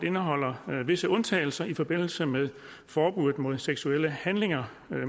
indeholder visse undtagelser i forbindelse med forbuddet mod seksuelle handlinger